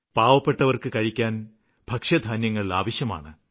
പാവപ്പെട്ടവര്ക്ക് കഴിക്കാന് ഭക്ഷ്യധാന്യങ്ങള് ആവശ്യമാണ്